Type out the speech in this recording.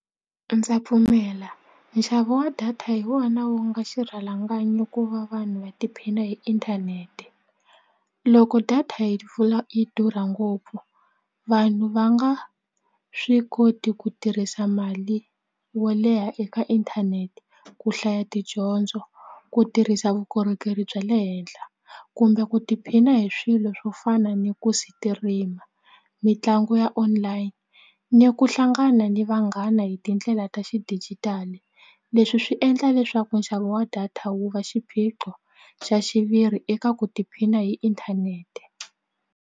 Ndza pfumela nxavo wa data hi wona wu nga xirhalanganyi ku va vanhu va tiphina hi inthanete loko data yi pfula yi durha ngopfu vanhu va nga swi koti ku tirhisa mali wo leha eka inthanete ku hlaya tidyondzo ku tirhisa vukorhokeri bya le henhla kumbe ku tiphina hi swilo swo fana ni ku sitirima mitlangu ya online ni ku hlangana ni vanghana hi tindlela ta xidijitali leswi swi endla leswaku nxavo wa data wu va xiphiqo xa xiviri eka ku tiphina hi inthanete.